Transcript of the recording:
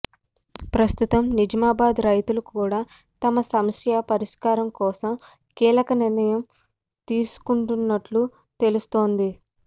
ప్రస్తుతం నిజామాబాద్ రైతులు కూడా తమ సమస్య పరిష్కారం కోసం కీలక నిర్ణయం తీసుకున్నట్టు తెలుస్తోంది